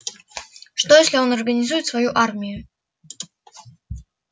что если он организует свою армию